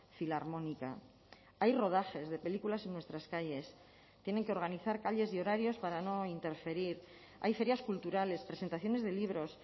filarmónica hay rodajes de películas en nuestras calles tienen que organizar calles y horarios para no interferir hay ferias culturales presentaciones de libros